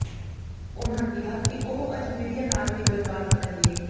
ਉਨ੍ਹਾਂ ਕਿਹਾ ਕਿ ਉਹ ਅੱਜ ਮੀਡੀਆ ਨਾਲ ਵੀ ਗੱਲਬਾਤ ਕਰਨਗੇ